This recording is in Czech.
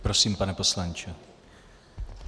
Prosím, pane poslanče.